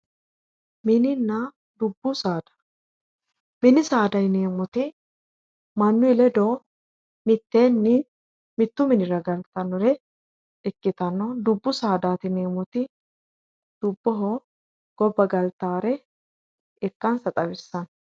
mininna dubbu saada mini saada yineemmohu mannuyi ledo mitteenni mittu minira galtannore ikkitanna dubbu saadaati yineemmoti dubboho gobba galataawore ikkansa xawissanno